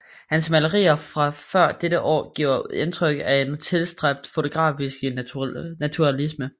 Hans malerier fra før dette år giver indtryk af en tilstræbt fotografisk naturalisme